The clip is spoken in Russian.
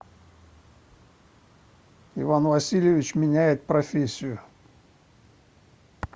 иван васильевич меняет профессию